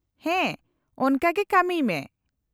-ᱦᱮᱸ ᱾ ᱚᱱᱟᱠᱟ ᱜᱮ ᱠᱟᱹᱢᱤᱭ ᱢᱮ ᱾